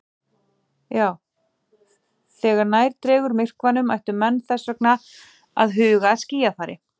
Þegar nær dregur myrkvanum ættu menn þess vegna að huga að skýjafari.